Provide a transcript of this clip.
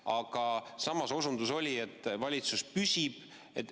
Aga samas oli osundus, et valitsus püsib.